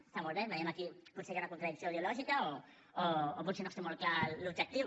està molt bé veiem que aquí potser hi ha una contradicció ideològica o potser no es té molt clar l’objectiu